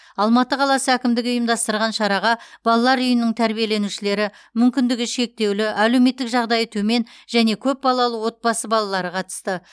алматы қаласы әкімдігі ұйымдастырған шараға балалар үйінің тәрбиеленушілері мүмкіндігі шектеулі әлеуметтік жағдайы төмен және көпбалалы отбасы балалары қатысты